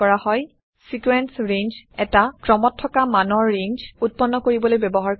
sequence range এটা ক্ৰমত থকা মানৰ ৰেঞ্জ উত্পন্ন কৰিবলৈ ব্যৱহাৰ কৰা হয়